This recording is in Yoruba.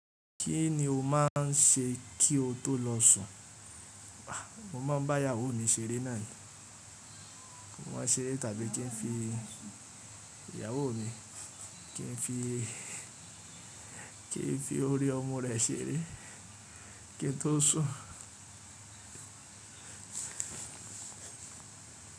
Kí ni o máà ń ṣe kí o tó lọ sùn? Mo má ń bá ìyàwó mi ṣeré náà ni. Mo máa ń ṣeré tàbí kí n fi ìyàwó mi, kí n fi, kí n fi orí ọmu rẹ̀ ṣeré kí n tó sùn.